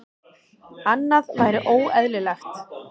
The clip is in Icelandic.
Annað væri óeðlilegt.